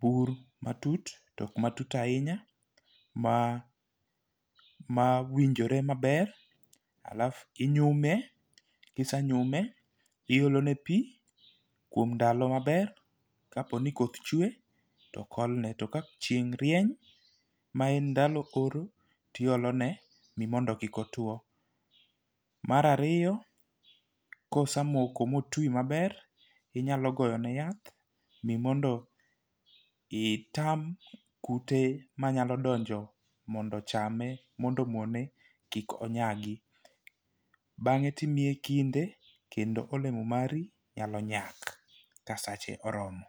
bur matut tok matut ahinya ma ma winjore maber alafu inyume. Kisenyume iolo ne pii kuom ndalo maber. Kapo ni koth chwe tok olne to kapo ni chieng' rieny ma en ndalo oro tiolo ne mondo kik otwo .Mar ariyo kosemoko motii maber inyalo goyo ne yath ni mondo itam kute manyalo donjo mondo ochame mondo omone kik onyagi .Bang'e timiye kinde kendo olemo maru nyalo nyak ka sache oromo.